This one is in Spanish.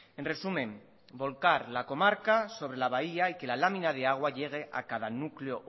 en resumen volcar la comarca sobre la bahía y que la lámina de agua llegue a cada núcleo